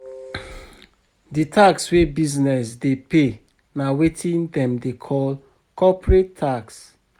Di tax wey business dey pay na wetin dem dey call corporate tax